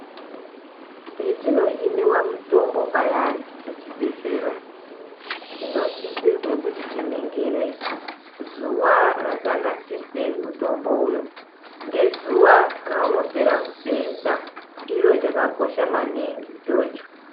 Petinohiniwa mutombo payani kuchibhedhlera , tinosisirwe kuti tiningire zuwa rakanasirwe mutombo uyu , ngezuwa raunopera kusenza , chiro chakakosha maningi ichocho.